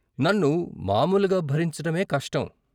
నన్ను మామూలుగా భరించటమే కష్టం.